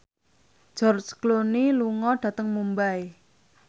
George Clooney lunga dhateng Mumbai